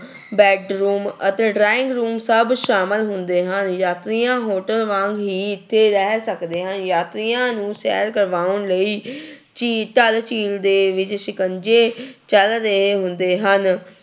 Bedroom ਅਤੇ drawing room ਸਭ ਸਾਮਲ ਹੁੰਦੇ ਹਨ, ਯਾਤਰੀਆਂ hotel ਵਾਂਗ ਹੀ ਇੱਥੇ ਰਹਿ ਸਕਦੇ ਹਨ, ਯਾਤਰੀਆਂ ਨੂੰ ਸੈਰ ਕਰਵਾਉਣ ਲਈ ਝੀ ਡੱਲ ਝੀਲ ਦੇ ਵਿੱਚ ਸਿਕੰਜੇ ਚੱਲ ਰਹੇ ਹੁੰਦੇ ਹਨ।